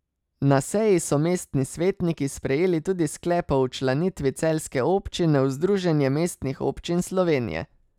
Na seji so mestni svetniki sprejeli tudi sklep o včlanitvi celjske občine v Združenje mestnih občin Slovenije.